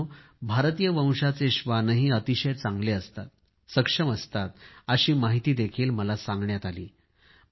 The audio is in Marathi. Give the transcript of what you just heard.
मित्रांनो भारतीय वंशाचे श्वानही अतिशय चांगले असतात सक्षम असतात अशी माहितीही मला सांगण्यात आली